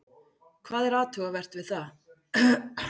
Hvað er athugavert við það?